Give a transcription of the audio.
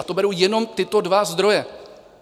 A to beru jenom tyto dva zdroje.